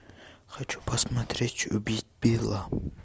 хочу посмотреть убить билла